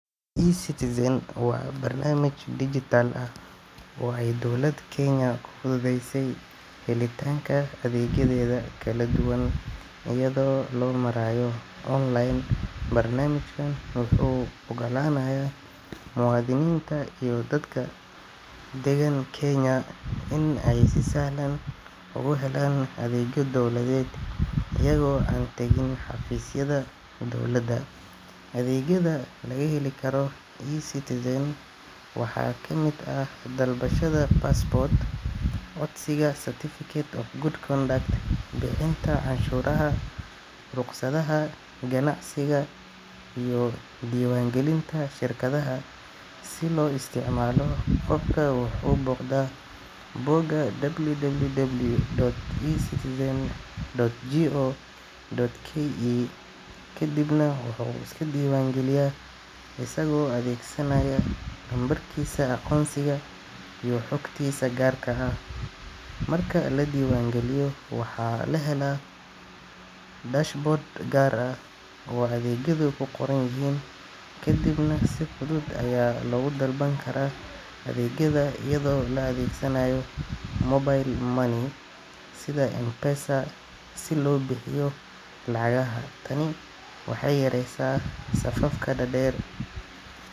Ecitizen wa barnamij digital ah oo ay dowlad Kenya fudhudheysey helitanka adeegyadhedha kala duwan ayidho lomarayo online barnamijkan wuxu ogalanaya muadhininta iyo dadka dagan kenya in ay si sahlan ugu helan adeegyo dowladhed ayidho an tagin xafisyadha dowlada. adeegyadha lagaheli Karo ecitizen waxa kamid ah dalbashadha passport codsiga certificate of good conduct bixinta cashuradhaha ruqsadhaha ganacsiga iyo diiban gilinta shirkadhaha si lo isticmalo habka lobuxda booka www.c citizen.go.ke kadibna waxu iska diiban giliya asago adeegsanaya lambarkisa aqonsiga iyo xogtisa gaarka ah. Marka ladiban giliyo waxa lahela dashboard gaar ah oo adeegyadha kuqoranyihin kadibna si fudhud aya loga dalbankara adeegyadha ayidho la adeegsanaya mobile money sidha mpesa lobixiyo Lacagaha taan waxay yareysa safafka dadeer.